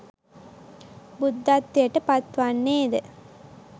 බුද්ධත්වයට පත්වන්නේද